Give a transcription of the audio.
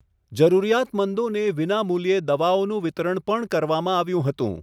જરૂરિયાતમંદોને વિનામૂલ્યે દવાઓનું વિતરણ પણ કરવામાં આવ્યું હતું.